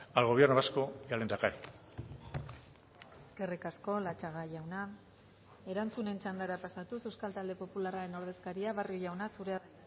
al gobierno vasco y al lehendakari eskerrik asko latxaga jauna erantzunen txandara pasatuz euskal talde popularraren ordezkaria barrio jauna zurea da